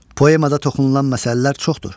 Poemada toxunulan məsələlər çoxdur.